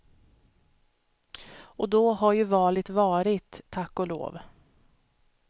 Och då har ju valet varit, tack och lov.